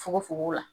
Fukofugo la